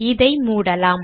இதை மூடலாம்